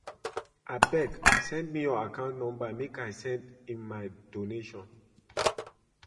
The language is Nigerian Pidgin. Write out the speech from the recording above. Abeg send me your account number make I send in my donation